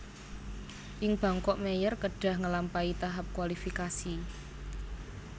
Ing Bangkok Mayer kedhah ngelampahi tahap kualifikasi